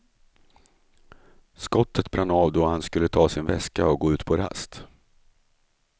Skottet brann av då han skulle ta sin väska och gå ut på rast.